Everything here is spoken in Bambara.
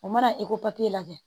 O mana e ko papiye lajɛ